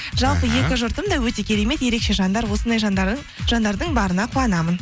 жалпы екі жұртым да өте керемет ерекше жандар осындай жанардың барына қуанамын